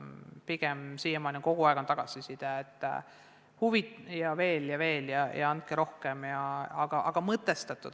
Siiamaani on tulnud kogu aeg pigem selline tagasiside, et huvi on veel suurem – andke aga rohkem mõtestatud koolitusi.